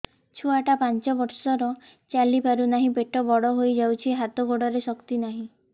ଛୁଆଟା ପାଞ୍ଚ ବର୍ଷର ଚାଲି ପାରୁନାହଁ ପେଟ ବଡ ହୋଇ ଯାଉଛି ହାତ ଗୋଡ଼ର ଶକ୍ତି ନାହିଁ